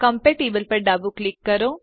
compatibleપર ડાબું ક્લિક કરો